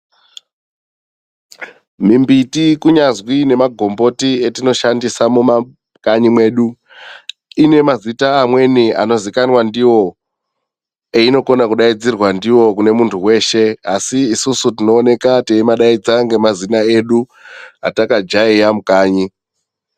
Mimbiti kunyazi nemagomboti etinoshandisa mumakanyi mwedu ine mazita mamweni eyinozikanwa ndiyo eyinokona kidaidzirwa ndiyo kumuntu weshe asi isusu tinoonekwa teyidaidza nemazina edu atakajaiya mukanyi.